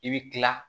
I bɛ kila